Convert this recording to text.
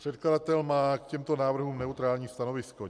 Předkladatel má k těmto návrhům neutrální stanovisko.